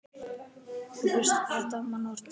Þú bjóst þetta mannsmorð til.